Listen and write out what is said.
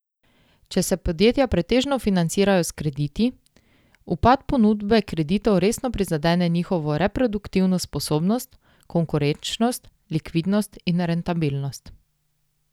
Če se podjetja pretežno financirajo s krediti, upad ponudbe kreditov resno prizadene njihovo reproduktivno sposobnost, konkurenčnost, likvidnost in rentabilnost.